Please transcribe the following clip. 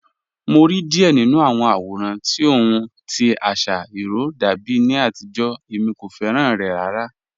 Mo rí díẹ̀ nínu àwọn àwòràn tí ọ̀hun tí àṣà irò dàbí ní àtìjó, èmi kò fẹ́ràn rẹ̀ ràrà